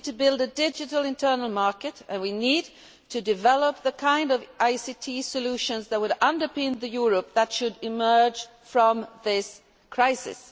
We need to build a digital internal market and we need to develop the kind of ICT solutions that would underpin the Europe that should emerge from this crisis.